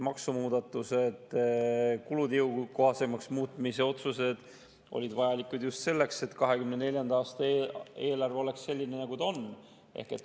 Maksumuudatused, kulude jõukohasemaks muutmise otsused olid vajalikud just selleks, et 2024. aasta eelarve oleks selline, nagu ta on.